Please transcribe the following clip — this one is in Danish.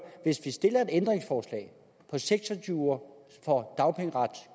hvis vi stiller et ændringsforslag om seks og tyve uger for at